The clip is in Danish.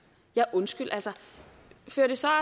ja undskyld fører det så